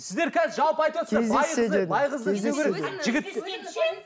сіздер қазір жалпы айтыватсыздар